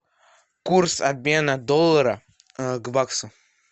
курс обмена доллара к баксу